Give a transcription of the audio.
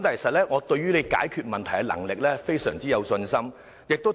不過，我對於你解決問題的能力非常有信心。